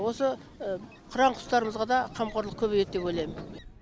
осы қыран құстарымызға да қамқорлық көбейеді деп ойлаймын